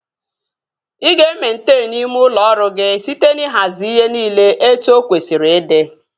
Ị ga-ementenu ime ụlọ ọrụ gị site n'ihazi ihe niile etu o kwesịrị ịdị